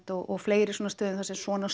og fleiri svona stöðum þar sem svona